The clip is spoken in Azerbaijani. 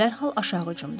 Dərhal aşağı cumdum.